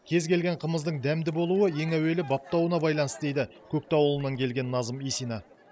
кез келген қымыздың дәмді болуы ең әуелі баптауына байланысты дейді көктау ауылынан келген назым исина